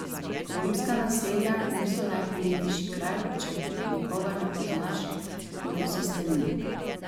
Romska naselja niso najprijetnejši kraj, če nikogar ne poznaš in ko se stemni.